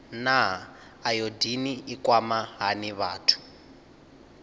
naa ayodini i kwama hani vhathu